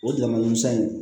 O damadame in